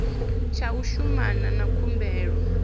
tsha u shumana na khumbelo